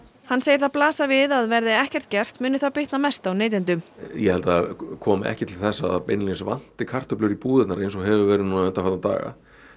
hann segir það blasa við að verði ekkert gert muni það bitna mest á neytendum ég held það komi ekki til þess að það beinlínis vanti kartöflur í búðirnar eins og hefur verið núna undanfarna daga